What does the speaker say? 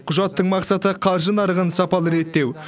құжаттың мақсаты қаржы нарығын сапалы реттеу